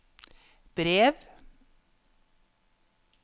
brev